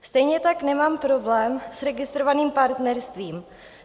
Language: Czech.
Stejně tak nemám problém s registrovaným partnerstvím.